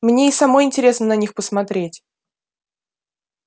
мне и самой интересно на них посмотреть